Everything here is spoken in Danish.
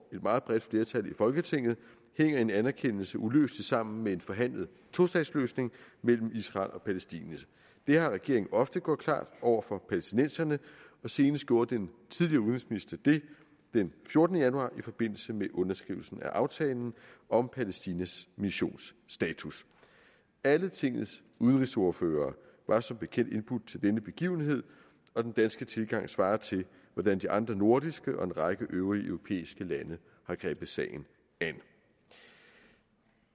meget bredt flertal i folketinget hænger en anerkendelse uløseligt sammen med en forhandlet tostatsløsning mellem israel og palæstina det har regeringen ofte gjort klart over for palæstinenserne og senest gjorde den tidligere udenrigsminister det den fjortende januar i forbindelse med underskrivelsen af aftalen om palæstinas missions status alle tingets udenrigsordførere var som bekendt indbudt til denne begivenhed og den danske tilgang svarer til hvordan de andre nordiske og en række øvrige europæiske lande har grebet sagen an